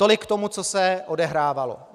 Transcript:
Tolik k tomu, co se odehrávalo.